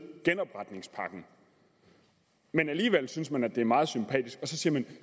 genopretningspakken men alligevel synes man at det er meget sympatisk og så siger man